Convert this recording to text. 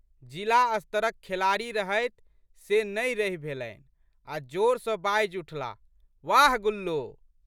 जिला स्तरक खेलाड़ी रहथि से नहि रहि भेलनि आ जोर सँ बाजि उठलाह, वाह गुल्लो!